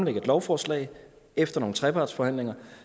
et lovforslag efter nogle trepartsforhandlinger